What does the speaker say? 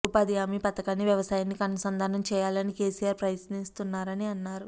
ఉపాధి హామీ పథకాన్ని వ్యవసాయానికి అనుసంధానం చేయాలని కేసీఆర్ ప్రయత్నిస్తున్నారని అన్నారు